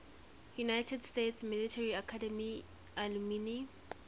united states military academy alumni